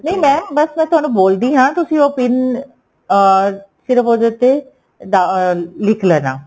ਨਹੀਂ mam ਬੱਸ ਮੈਂ ਤੁਹਾਨੂੰ ਬੋਲਦੀ ਆ ਤੁਸੀਂ ਉਹ PIN ਅਹ ਸਿਰਫ ਉੱਦੇ ਉੱਤੇ ਡਾ ਅਹ ਲਿੱਖ ਲੈਣਾ